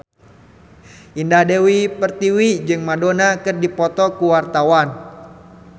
Indah Dewi Pertiwi jeung Madonna keur dipoto ku wartawan